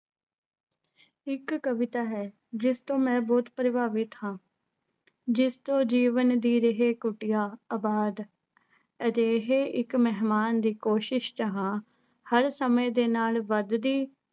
ਇੱਕ ਕਵਿਤਾ ਹੈ ਜਿਸਤੋਂ ਮੈਂ ਬਹੁਤ ਪ੍ਰਭਾਵਿਤ ਹਾਂ, ਜਿਸ ਤੋਂ ਜੀਵਨ ਦੀ ਰਹੇ ਕੁਟੀਆ ਆਬਾਦ, ਅਜਿਹੇ ਇੱਕ ਮਿਹਮਾਨ ਦੀ ਕੋਸ਼ਿਸ਼ ਚ ਹਾਂ, ਹਰ ਸਮੇਂ ਦੇ ਨਾਲ ਵੱਧਦੀ